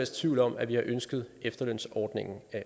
tvivl om at vi har ønsket efterlønsordningen